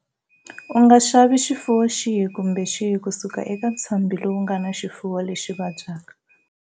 U nga xavi xifuwo xihi kumbe xihi ku suka eka ntshambhi lowu nga na xifuwo lexi vabyaka.